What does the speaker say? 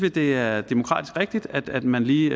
at det er demokratisk rigtigt at man lige